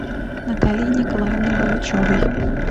натальи николаевны булычевой